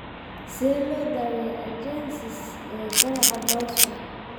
Sidee loo daweeyaa agenesis ee ganaca dorsal?